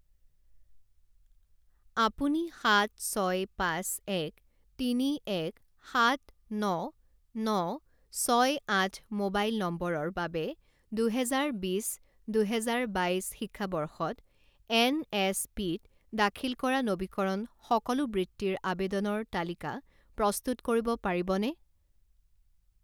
আপুনি সাত ছয় পাঁচ এক তিনি এক সাত ন ন ছয় আঠ মোবাইল নম্বৰৰ বাবে দুহেজাৰ বিছ দুহেজাৰ বাইছ শিক্ষাবৰ্ষত এনএছপিত দাখিল কৰা নবীকৰণ সকলো বৃত্তিৰ আবেদনৰ তালিকা প্ৰস্তুত কৰিব পাৰিবনে?